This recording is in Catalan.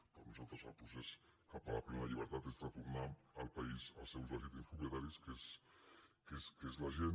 per a nosaltres el procés cap a la plena llibertat és retornar el país als seus legítims propietaris que és la gent